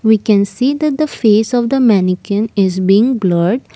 we can see that the face of the mannequin is being blurred.